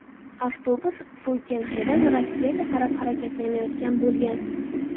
Avtobus Suyfenxedan Rossiyaga qarab harakatlanayotgan bo‘lgan.